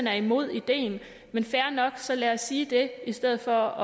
er imod ideen det er fair nok så lad os sige det i stedet for